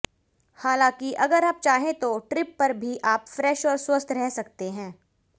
हालांकि अगर आप चाहें तो ट्रिप पर भी आप फ्रेश और स्वस्थ रह सकते हैं